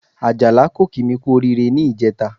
Àjàlá kò kí mi kú oríire ní ìjẹta